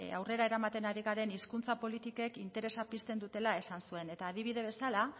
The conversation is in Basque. aurrera eramaten ari garen hizkuntza politikek interesa pizten dutela esan zuen eta adibide bezala